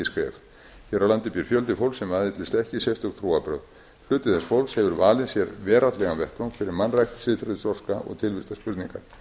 hér á landi býr fjöldi fólks sem aðhyllist ekki sérstök trúarbrögð hluti þess fólks hefur valið sér veraldlegan vettvang fyrir mannrækt siðferðisþroska og tilvistarspurningar